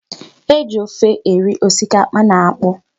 E ji ofe eri osikapa na akpụ.